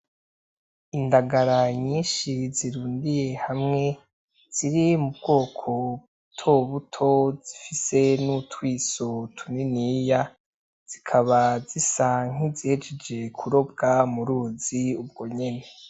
Indagara nyinshi zirundiye hamwe ziri mubwoko butobuto zifise nutwiso tuniniya zikaba zisa nkizejeje kurobwa muruzi ubwo nyene.